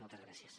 moltes gràcies